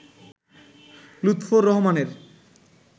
লুৎফর রহমানের